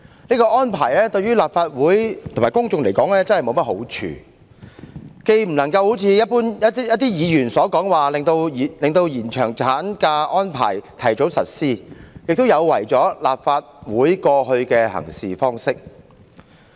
這樣的做法，於立法會及公眾均沒好處，既不能如一些議員所認為能達致令延長產假的安排盡早實施的目的，亦有違立法會一貫的行事方式。